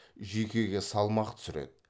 жүйкеге салмақ түсіреді